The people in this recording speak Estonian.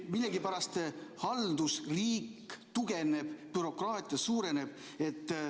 Millegipärast haldusriik tugevneb, bürokraatia suureneb.